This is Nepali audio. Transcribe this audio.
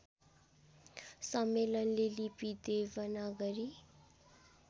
सम्मेलनले लिपि देवनागरी